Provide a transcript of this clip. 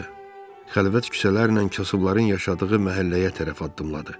Xəlvət küçələrlə kasıbların yaşadığı məhəlləyə tərəf addımladı.